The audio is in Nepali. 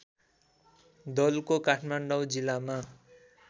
दलको काठमाडौँ जिल्लामा